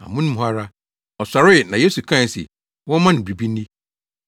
Amono mu hɔ ara, ɔsɔree na Yesu kae se wɔmma no biribi nni.